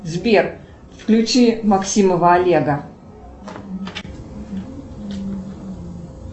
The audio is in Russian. сбер включи максимова олега